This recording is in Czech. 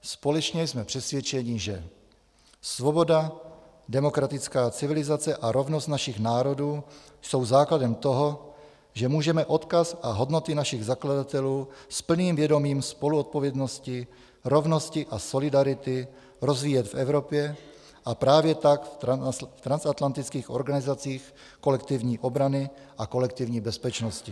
Společně jsme přesvědčeni, že svoboda, demokratická civilizace a rovnost našich národů jsou základem toho, že můžeme odkaz a hodnoty našich zakladatelů s plným vědomím spoluodpovědnosti, rovnosti a solidarity rozvíjet v Evropě a právě tak v transatlantických organizacích kolektivní obrany a kolektivní bezpečnosti.